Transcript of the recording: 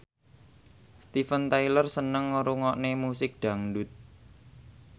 Steven Tyler seneng ngrungokne musik dangdut